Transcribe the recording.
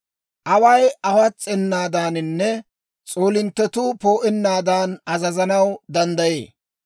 Away awas's'enaadaaninne s'oolinttetuu poo'ennaadan azazanaw danddayee.